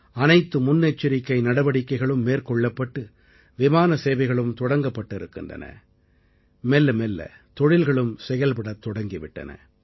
அனைத்து முன்னெச்சரிக்கை நடவடிக்கைகளும் மேற்கொள்ளப்பட்டு விமான சேவைகளும் தொடங்கப்பட்டிருக்கின்றன மெல்ல மெல்ல தொழில்களும் செயல்படத் தொடங்கி விட்டன